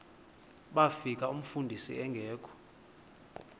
bafika umfundisi engekho